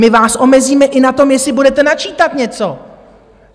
My vás omezíme i na tom, jestli budete načítat něco!